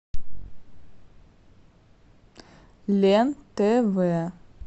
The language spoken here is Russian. лен тв